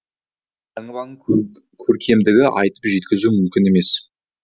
елтаңбаның көркемдігін айтып жеткізу мүмкін емес